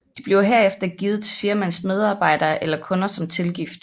De bliver herefter givet til firmaets medarbejdere eller kunder som tilgift